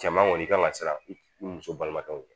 Cɛman kɔni kan ka siran i muso balimakɛw ɲɛ